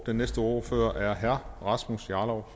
den næste ordfører er herre rasmus jarlov